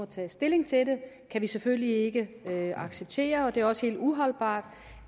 tage stilling til dem kan vi selvfølgelig ikke acceptere og det er også helt uholdbart